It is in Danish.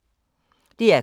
DR K